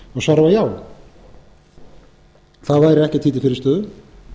hann kvarða já það væri ekkert því til fyrirstöðu